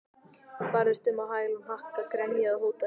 Barðist um á hæl og hnakka, grenjaði og hótaði.